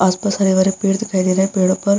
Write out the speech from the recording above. आस-पास हरे-भरे पेड़ दिखाई दे रहे हैं पेड़ो पर --